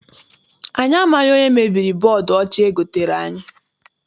Anyị amaghị onye mebiri bọdu ọcha egotere anyị.